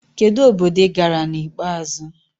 Kedu obodo ị gara na ikpeazụ?